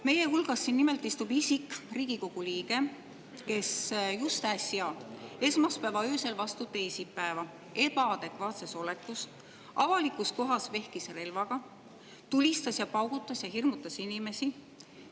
Meie hulgas nimelt istub isik, Riigikogu liige, kes just äsja, esmaspäeva öösel vastu teisipäeva vehkis avalikus kohas ebaadekvaatses olekus relvaga, tulistas, paugutas ja hirmutas inimesi.